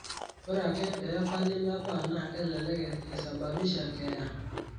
ore ake pee epali mebaa naa kelelek eisababisha keeya.